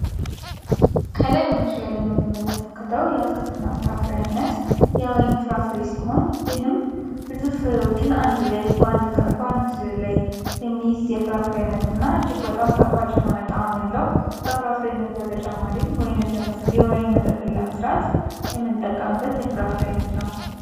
ከላይ በምስሉ ላይ የምንመለከተው የአትክልትና ፍራፍሬ አይነት የወይን ፍራፍሬ ሲሆን ይህም ብዙ ፍሬዎችን አንድ ላይ በአንድ ላይ የሚይዝ የሸርፍ አይነትና እጅግ በጣም ጣፋጭ የሆነ ጣዕም ያለው ከፍራፍሬ አይነት በተጨማሪም ወይንን የወይን መጠጥን ለመስራት የምንጠቀምበት የፍራፍሬ አይነት ነው።